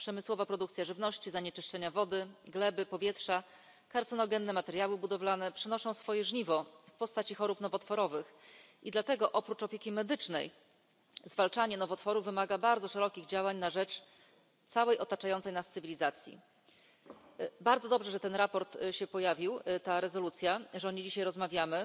Przemysłowa produkcja żywności, zanieczyszczenia wody, gleby, powietrza, kancerogenne materiały budowlane przynoszą swoje żniwo w postaci chorób nowotworowych. I dlatego oprócz opieki medycznej zwalczanie nowotworów wymaga bardzo szerokich działań na rzecz całej otaczającej nas cywilizacji. Bardzo dobrze, że ten raport się pojawił, ta rezolucja, o której dzisiaj rozmawiamy.